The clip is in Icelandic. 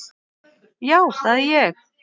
Já, það er ég!